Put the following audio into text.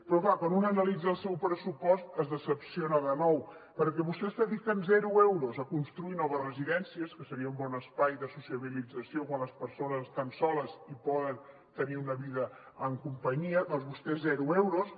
però clar quan una analitza el seu pressupost es decep de nou perquè vostès dediquen zero euros a construir noves residències que seria un bon espai de socialització quan les persones estan soles i poden tenir una vida en companyia doncs vostès zero euros